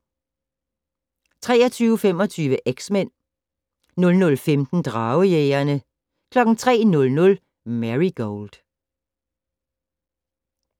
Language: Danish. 23:25: X-Men 01:15: Dragejægerne 03:00: Marigold